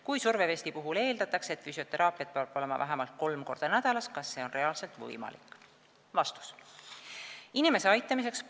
Kui survevesti puhul eeldatakse, et füsioteraapiat peab olema vähemalt 3 x nädalas, siis kas reaalselt on seda võimalik saada?